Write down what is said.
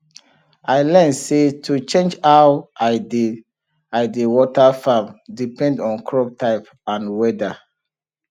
i learn say to change how i dey i dey water farm depend on crop type and weather